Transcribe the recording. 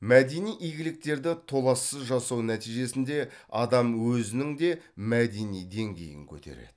мәдени игіліктерді толассыз жасау нәтижесінде адам өзінің де мәдени деңгейін көтереді